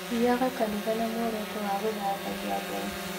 Thiaga kanitha na muoroto wa gũthathaiya Ngai